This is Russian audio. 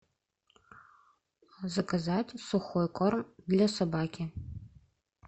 заказать сухой корм для собаки